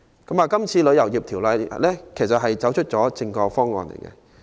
這項《旅遊業條例草案》其實走出了正確的方向。